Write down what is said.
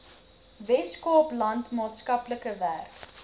weskaapland maatskaplike werk